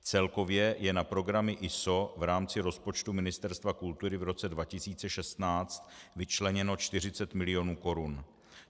Celkově je na programy ISO v rámci rozpočtu Ministerstva kultury v roce 2016 vyčleněno 40 mil. korun.